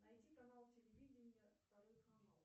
найди канал телевидения второй канал